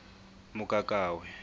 mokakawe